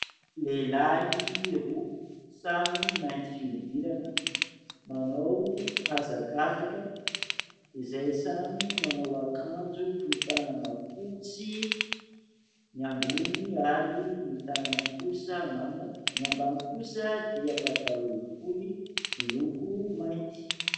Lehilahy roa samy mainty fihodirana manao hazakazaka izay samy manao akanjo fohy tanana fotsy ny ambony ary ny tanany kosa manga. Ny ambany kosa dia pataloha fohy miloko mainty.